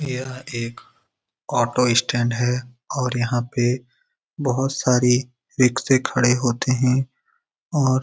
यह एक auto stand है और यहाँ पे बहुत सारी रिक्शे खड़े होते हैं और --